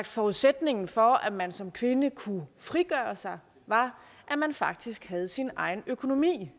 forudsætningen for at man som kvinde kunne frigøre sig var at man faktisk havde sin egen økonomi